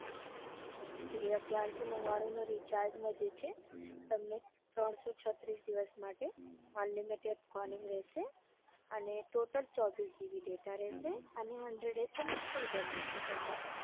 હમ એ અગિયારસો નવ્વાણું ના recharge માં જે છે તમને ત્રણસો છત્રીસ દિવસ માટે unlimited calling રેસે અને total ચોવીસ gb data રેસે અને હન્ડ્રેડ SMS per day મળશે તમને.